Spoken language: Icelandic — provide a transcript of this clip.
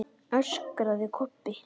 öskraði Kobbi.